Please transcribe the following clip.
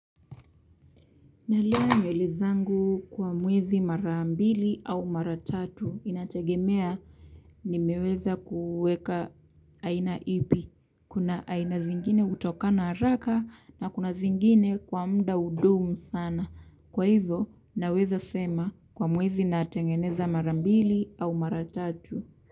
Nalea nywele zangu kwa mwezi mara mbili au mara tatu inategemea nimeweza kuweka aina ipi. Kuna aina zingine hutokana haraka na kuna zingine kwa mda hudumu sana. Kwa hivyo naweza sema kwa mwezi natengeneza mara mbili au mara tatu.